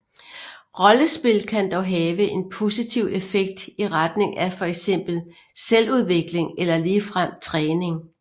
Rollespil kan dog have en positiv effekt i retning af fx selvudvikling eller ligefrem træning